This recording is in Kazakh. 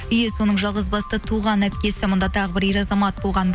үй иесінің жалғыз басты туған әпкесі мұнда тағы бір ер азамат болған